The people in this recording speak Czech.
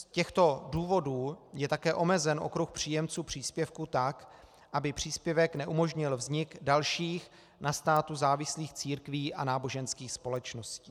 Z těchto důvodů je také omezen okruh příjemců příspěvku tak, aby příspěvek neumožnil vznik dalších na státu závislých církví a náboženských společností.